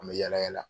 An bɛ yala yala